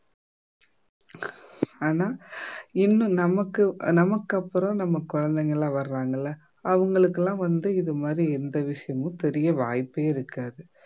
ஆனா இன்னும் நமக்கு நமக்கப்புறம் நம்ம குழந்தைங்க எல்லாம் வர்றாங்கல்ல அவங்களுக்கெல்லாம் வந்து இது மாதிரி எந்த விஷயமும் தெரிய வாய்ப்பே இருக்காது